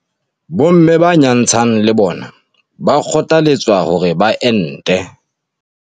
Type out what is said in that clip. Bomme ba nyantshang le bona ba kgothaletswa hore ba ente.